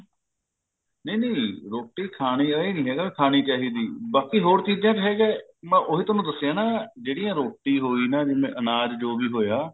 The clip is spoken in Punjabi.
ਨਹੀਂ ਨਹੀਂ ਰੋਟੀ ਖਾਣੀ ਐ ਇਹ ਨਹੀਂ ਹੈਗਾ ਖਾਣੀ ਚਾਹੀਦੀ ਬਾਕੀ ਹੋਰ ਚੀਜਾਂ ਚ ਹੈਗਾ ਮੈਂ ਉਹੀ ਤੁਹਾਨੂੰ ਦੱਸਿਆ ਐ ਨਾ ਜਿਹੜੀਆਂ ਰੋਟੀ ਹੋਗੀ ਨਾ ਜਿਵੇਂ ਅਨਾਜ ਜੋ ਵੀ ਹੋਇਆ